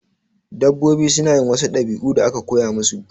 Dabbobi suna yin wasu ɗabi'u da aka koya musu